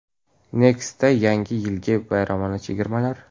NEXT’da yangi yilgi bayramona chegirmalar!.